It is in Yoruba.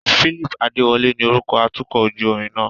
Phillip Adewole ni orúkọ atukọ̀ ojú omi náà.